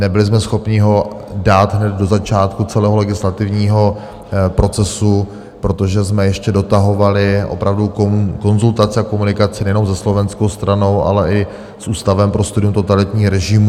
Nebyli jsme schopni ho dát hned do začátku celého legislativního procesu, protože jsme ještě dotahovali opravdu konzultaci a komunikaci nejenom se slovenskou stranou, ale i s Ústavem pro studium totalitních režimů.